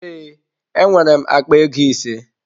Ee, enwere m akpa ego ise.